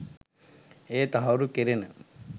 එය තහවුරු කෙරෙන